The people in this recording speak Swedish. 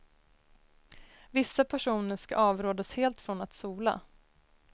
Vissa personer ska avrådas helt från att sola.